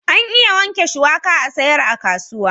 An iya wanke shuwaka a'sayar a kasuwa.